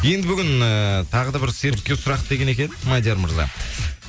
енді бүгін ыыы тағы да бір серікке сұрақ деген екен мадияр мырза